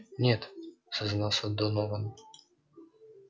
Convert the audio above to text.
нет сознался донован